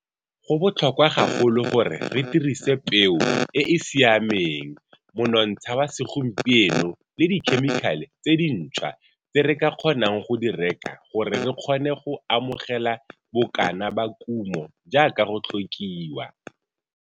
Go botlhokwa gagolo gore re dirise peo e e siameng, monontsha wa segompieno le dikhemikale tse dintshwa tse re ka kgonang go di reka gore re kgone go amogela bokana ba kumo jaaka go tlhokiwa.